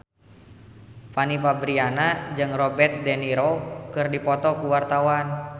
Fanny Fabriana jeung Robert de Niro keur dipoto ku wartawan